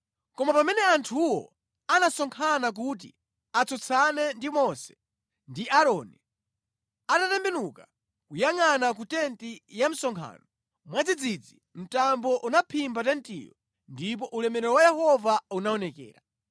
Koma pamene anthuwo anasonkhana kuti atsutsane ndi Mose ndi Aaroni, atatembenuka kuyangʼana ku tenti ya msonkhano, mwadzidzidzi mtambo unaphimba tentiyo ndipo ulemerero wa Yehova unaonekera.